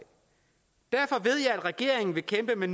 derfor ved jeg at regeringen vil kæmpe med